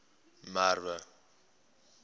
merwe